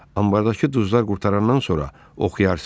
Ambardakı duzlar qurtarandan sonra oxuyarsız.